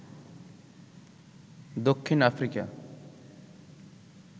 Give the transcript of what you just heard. Dakshin Africa